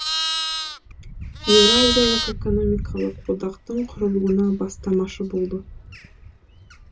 еуразиялық экономикалық одақтың құрылуына бастамашы болды